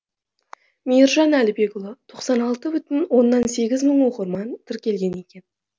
мейіржан әлібекұлы тоқсан алты бүтін оннан сегіз мың оқырман тіркелген екен